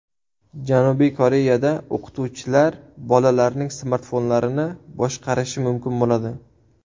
Janubiy Koreyada o‘qituvchilar bolalarning smartfonlarini boshqarishi mumkin bo‘ladi.